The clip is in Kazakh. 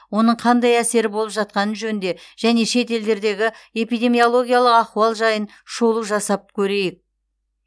оның қандай әсері болып жатқаны жөнінде және шет елдердегі эпидемиологиялық ахуал жайын шолу жасап көрейік